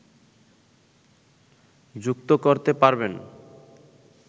যুক্ত করতে পারবেন